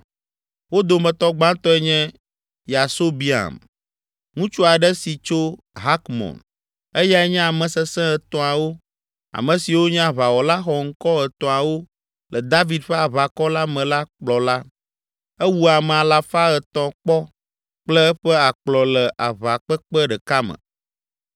Wo dometɔ gbãtɔe nye Yasobeam, ŋutsu aɖe si tso Hakmon. Eyae nye Ame Sesẽ Etɔ̃awo, ame siwo nye aʋawɔla xɔŋkɔ etɔ̃awo le David ƒe aʋakɔ la me la kplɔla. Ewu ame alafa etɔ̃ kpɔ kple eƒe akplɔ le aʋakpekpe ɖeka me.